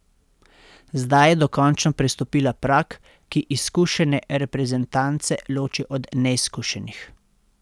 Zdaj je dokončno prestopila prag, ki izkušene reprezentance loči od neizkušenih.